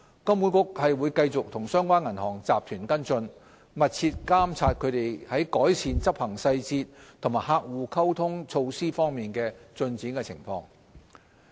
金管局會繼續與相關銀行集團跟進，密切監察其在改善執行細節及客戶溝通措施方面的進展情況。